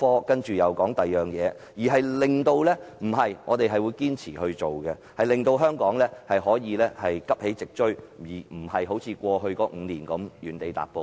既然政府提倡創科，便必須堅持推動創科發展，令香港可以急起直追，而非像過去5年一樣原地踏步。